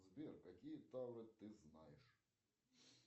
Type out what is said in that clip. сбер какие тавры ты знаешь